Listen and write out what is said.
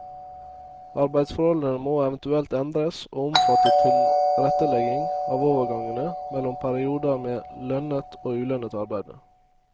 Arbeidsforholdene må eventuelt endres og omfatte tilrettelegging av overgangene mellom perioder med lønnet og ulønnet arbeide.